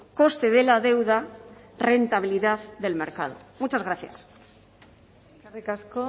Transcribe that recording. coste de la deuda rentabilidad del mercado muchas gracias eskerrik asko